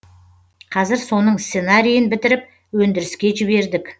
қазір соның сценарийін бітіріп өндіріске жібердік